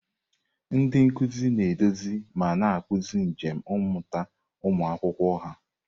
Ndị nkuzi na-eduzi ma na-akpụzi njem mmụta ụmụ akwụkwọ ha.